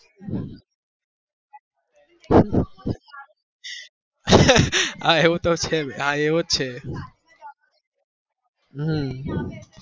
આ તો છે જ આ એવો જ છે હમ